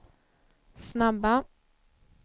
snabba